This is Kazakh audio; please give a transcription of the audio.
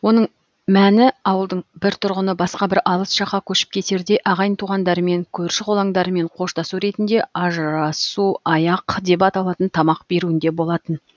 оның мәні ауылдың бір тұрғыны басқа бір алыс жаққа көшіп кетерде ағайын туғандарымен көрші қолаңдарымен қоштасу ретінде ажырасу аяқ деп аталатын тамақ беруінде болатын